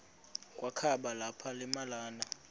kwakaba lapha nemalana